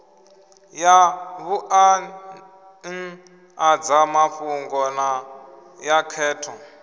ya vhuanḓadzamafhungo na ya khetho